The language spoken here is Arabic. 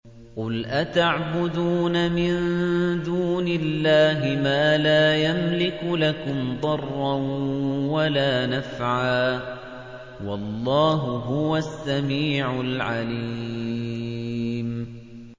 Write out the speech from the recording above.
قُلْ أَتَعْبُدُونَ مِن دُونِ اللَّهِ مَا لَا يَمْلِكُ لَكُمْ ضَرًّا وَلَا نَفْعًا ۚ وَاللَّهُ هُوَ السَّمِيعُ الْعَلِيمُ